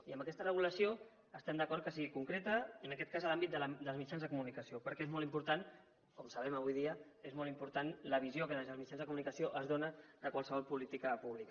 i amb aquesta regulació estem d’acord que sigui concreta i en aquest cas en l’àmbit dels mitjans de comunicació perquè és molt important com ho sabem avui dia és molt important la visió que des dels mitjans de comunicació es dóna de qualsevol política pública